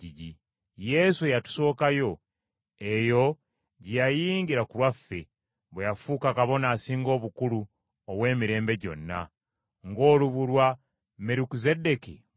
Yesu eyatusooka yo, eyo gye yayingira ku lwaffe, bwe yafuuka Kabona Asinga Obukulu ow’emirembe gyonna, ng’olubu lwa Merukizeddeeki bwe luli.